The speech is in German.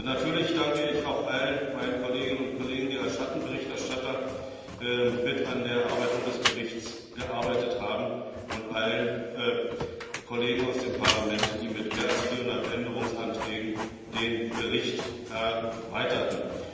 Natürlich danke ich auch allen meinen Kolleginnen und Kollegen, die als Schattenberichterstatter an der Erarbeitung des Berichts mitgearbeitet haben, und allen Kollegen aus dem Parlament, die mit mehr als 400 Änderungsanträgen den Bericht erweiterten.